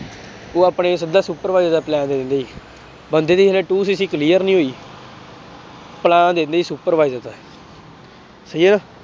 ਉਹ ਆਪਣੇ ਸਿੱਧਾ supervise ਦਾ plan ਦੇ ਦਿੰਦੇ ਸੀ, ਬੰਦੇ ਦੀ ਹਜੇ two clear ਨੀ ਹੋਈ plan ਦੇ ਦਿੰਦੇ ਸੀ supervisor ਦਾ ਸਹੀ ਹੈ ਨਾ।